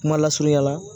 Kuma lasurunya la